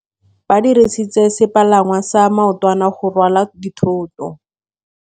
Ba dirisitse sepalangwasa maotwana go rwala dithôtô.